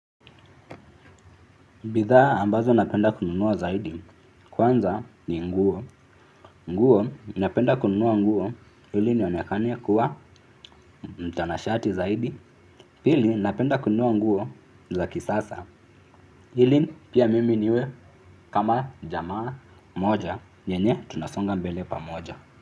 Bidhaa ambazo napenda kununua zaidi. Kwanza ni nguo. Nguo napenda kununua nguo ili nionekane kuwa mtanashati zaidi. Pili napenda kununua nguo za kisasa. Ili pia mimi niwe kama jamaa mmoja. Yenye tunasonga mbele pamoja.